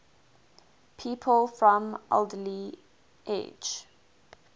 people from alderley edge